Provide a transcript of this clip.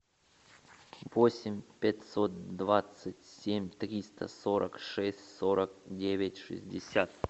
восемь пятьсот двадцать семь триста сорок шесть сорок девять шестьдесят